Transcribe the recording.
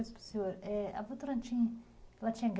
Deixa eu perguntar uma coisa para o senhor